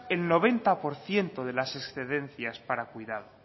el noventa por ciento de las excedencias para cuidado